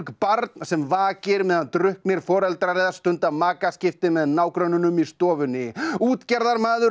barn sem vakir meðan drukknir foreldrar stunda makaskipti með nágrönnunum í stofunni útgerðarmaður á